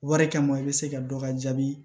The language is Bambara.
Wari kama i bɛ se ka dɔ ka jaabi